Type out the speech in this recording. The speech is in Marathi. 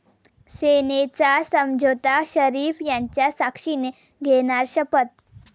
सेनेचा 'समझोता', शरीफ यांच्या साक्षीने घेणार शपथ!